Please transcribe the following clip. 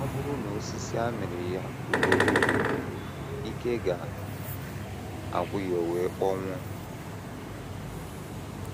Ọ bụrụ na osisi amịrị ya ugboro ugboro, ike ga - agwụ ya o wee kpọnwụọ.